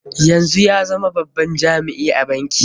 Yanzu ya zama babban jami'i a banki.